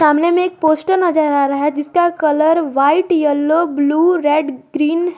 सामने में एक पोस्टर नजर आ रहा है जिसका colour white yellow blue red green है।